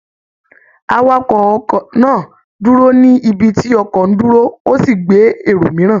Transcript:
Awakọ̀ ọkọ̀ náà dúró ní ibi tí ọkọ̀ ń dúró, ó sì gbé èrò mìíràn